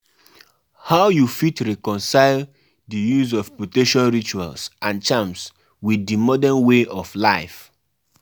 I just um dey thank God say everybody um wey um come chop well